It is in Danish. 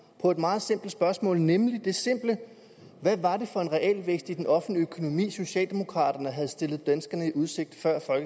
på et meget simpelt spørgsmål nemlig det simple hvad var det for en realvækst i den offentlige økonomi socialdemokraterne havde stillet danskerne i udsigt